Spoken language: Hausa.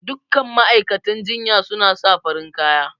Duk kan ma'aikatan jinya suna sa farin kaya